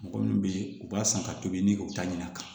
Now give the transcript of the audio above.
Mɔgɔ min bɛ ye u b'a san ka tobi ni o ta ɲɛna